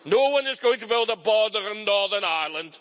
No-one is going to build a border in Northern Ireland.